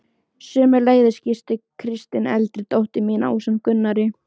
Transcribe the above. Sömuleiðis gisti Kristín eldri dóttir mín ásamt Gunnari